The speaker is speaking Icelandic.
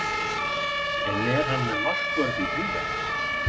En er hann með markvörð í huga?